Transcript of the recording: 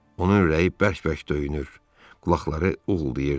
Onun ürəyi bərk-bərk döyünür, qulaqları uğuldayırdı.